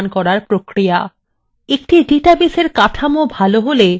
একটি ডাটাবেসএর কাঠামো ভালো হলে